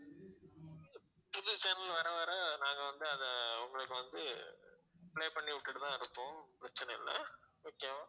புது channel வர வர நாங்க வந்து அத உங்களுக்கு வந்து play பண்ணி விட்டுட்டு தான் இருக்போம் பிரச்சினை இல்லை okay வா